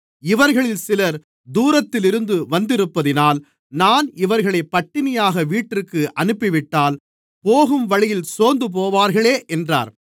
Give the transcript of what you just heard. இவர்களில் சிலர் தூரத்திலிருந்து வந்திருப்பதினால் நான் இவர்களைப் பட்டினியாக வீட்டிற்கு அனுப்பிவிட்டால் போகும் வழியில் சோர்ந்துபோவார்களே என்றார்